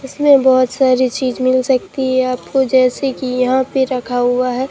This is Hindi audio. इसमें बहोत सारी चीज मिल सकती है आप को जैसे कि यहां पे रखा हुआ है।